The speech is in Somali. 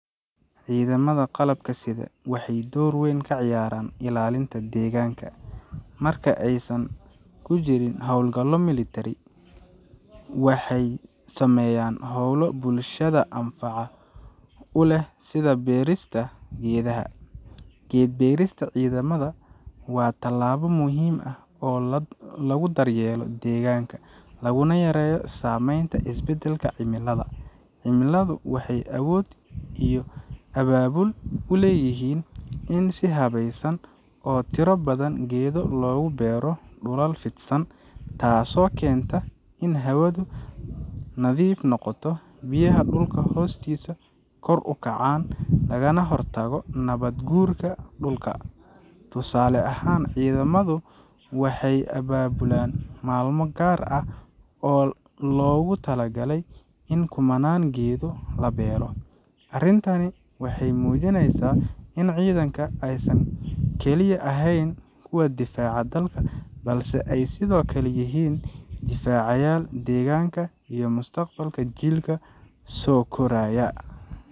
Ciidamada qalabka sida waxay door weyn ka ciyaaraan ilaalinta deegaanka. Marka aysan ku jirin hawlgallo milatari, waxay sameeyaan howlo bulshada anfaca u leh sida beerista geedaha. Geed-beerista ciidamada waa tallaabo muhiim ah oo lagu daryeelo deegaanka, laguna yareeyo saamaynta isbeddelka cimilada. Ciidamadu waxay awood iyo abaabul u leeyihiin in si habaysan oo tiro badan geedo loogu beero dhulal fidsan, taasoo keenta in hawadu nadiif noqoto, biyaha dhulka hoostiisa kor u kacaan, lagana hortago nabaad-guurka dhulka. Tusaale ahaan, ciidamadu waxay abaabulaan maalmo gaar ah oo loogu talagalay in kumannaan geedood la beero. Arrintani waxay muujinaysaa in ciidanka aysan kaliya ahayn kuwa difaaca dalka, balse ay sidoo kale yihiin difaacayaal deegaanka iyo mustaqbalka jiilka soo koraya.